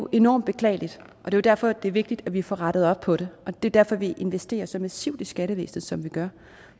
enormt beklageligt og det er jo derfor det er vigtigt at vi får rettet op på det og det er derfor at vi investerer så massivt i skattevæsenet som vi gør